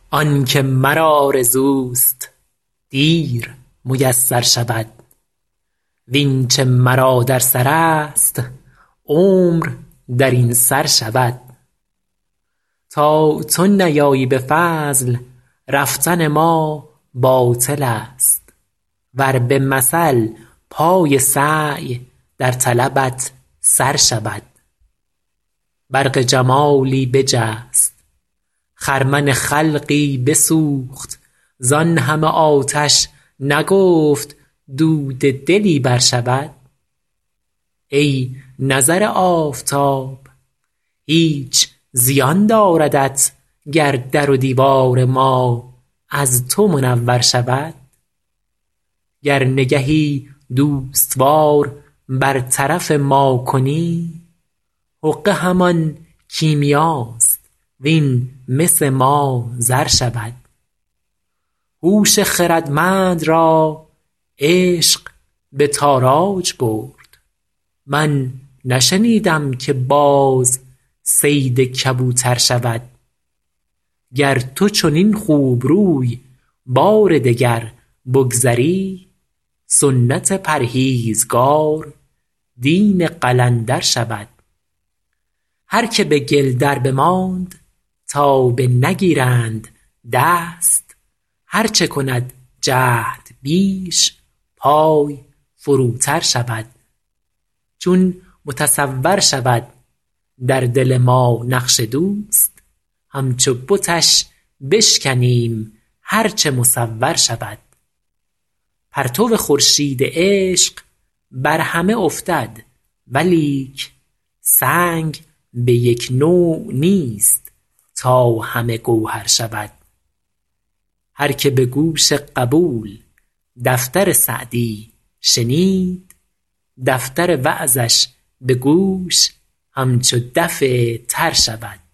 آن که مرا آرزوست دیر میسر شود وین چه مرا در سرست عمر در این سر شود تا تو نیایی به فضل رفتن ما باطلست ور به مثل پای سعی در طلبت سر شود برق جمالی بجست خرمن خلقی بسوخت زان همه آتش نگفت دود دلی برشود ای نظر آفتاب هیچ زیان داردت گر در و دیوار ما از تو منور شود گر نگهی دوست وار بر طرف ما کنی حقه همان کیمیاست وین مس ما زر شود هوش خردمند را عشق به تاراج برد من نشنیدم که باز صید کبوتر شود گر تو چنین خوبروی بار دگر بگذری سنت پرهیزگار دین قلندر شود هر که به گل دربماند تا بنگیرند دست هر چه کند جهد بیش پای فروتر شود چون متصور شود در دل ما نقش دوست همچو بتش بشکنیم هر چه مصور شود پرتو خورشید عشق بر همه افتد ولیک سنگ به یک نوع نیست تا همه گوهر شود هر که به گوش قبول دفتر سعدی شنید دفتر وعظش به گوش همچو دف تر شود